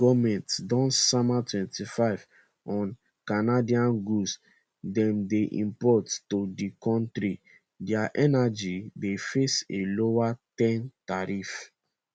while us goment don sama 25 on canadian goods dem dey import to di kontri dia energy dey face a lower ten tariff